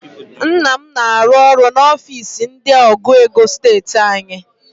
Nna m na-arụ ọrụ n'ofiisi ndị ọgụ ego steeti anyị